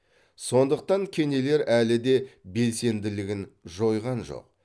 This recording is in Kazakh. сондықтан кенелер әлі де белсенділігін жойған жоқ